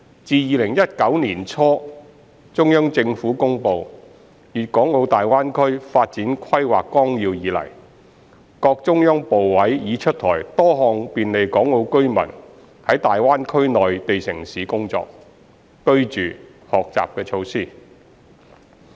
自2019年年初中央政府公布《粵港澳大灣區發展規劃綱要》以來，各中央部委已出台多項便利港澳居民在大灣區內地城市工作、居住、學習的措施。